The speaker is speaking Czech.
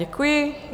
Děkuji.